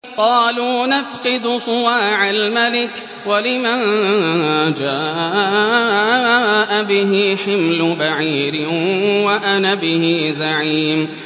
قَالُوا نَفْقِدُ صُوَاعَ الْمَلِكِ وَلِمَن جَاءَ بِهِ حِمْلُ بَعِيرٍ وَأَنَا بِهِ زَعِيمٌ